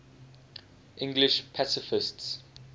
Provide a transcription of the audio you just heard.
english pacifists